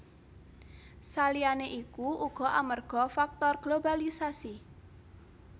Saliyané iku uga amarga faktor globalisasi